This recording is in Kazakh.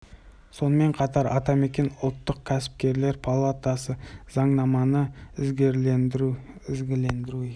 жайттар парақор шенеуніктерді еркінсітіп жүгенсіз кетуіне жол ашуда сәйкес талаптардың қысқартып мыңға жуығын ғана қалдыруды